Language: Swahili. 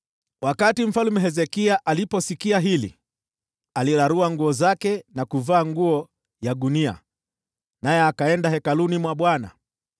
Mfalme Hezekia aliposikia haya, akararua nguo zake na kuvaa nguo ya gunia, naye akaenda katika Hekalu la Bwana .